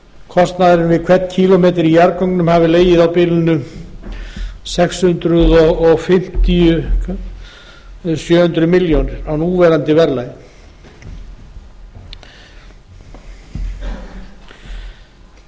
kostnaðurinn við hvern kílómetra í jarðgöngum hafi legið á bilinu sex hundruð fimmtíu til sjö hundruð milljónir á núverandi verðlagi öllum er